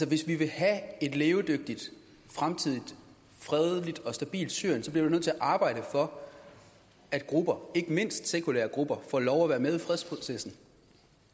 hvis vi vil have et levedygtigt fremtidigt fredeligt og stabilt syrien så bliver vi nødt til at arbejde for at de grupper ikke mindst de sekulære grupper får lov at være med i fredsprocessen